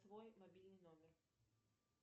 твой мобильный номер